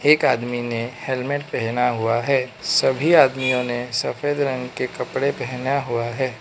एक आदमी ने हेलमेट पहना हुआ है सभी आदमियों ने सफेद रंग के कपड़े पहना हुआ है।